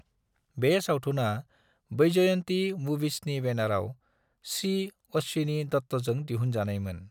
बे सावथुना वैजयंती मूवीजनि बैनराव सी. अश्विनी दत्तजों दिहुनजानायमोन।